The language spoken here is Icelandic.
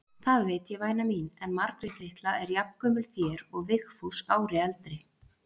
Það veit ég væna mín, en Margrét litla er jafngömul þér og Vigfús ári eldri.